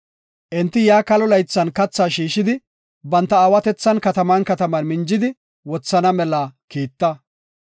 Enti yaa kalo laythan kathaa shiishidi, banta aawatethan kataman kataman minjidi wothana mela kiita.